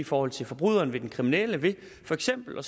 forhold til forbryderen den kriminelle ved for eksempel at